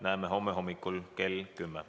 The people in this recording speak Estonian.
Näeme homme hommikul kell 10.